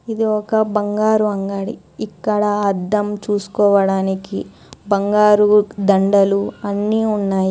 ఇది ఒక బంగారు అంగడి ఇక్కడ అద్దం చూసుకోవడానికి బంగారు దండలు అన్నీ ఉన్నాయి.